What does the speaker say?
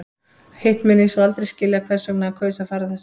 Hitt mun ég svo aldrei skilja hvers vegna hann kaus að fara þessa leið.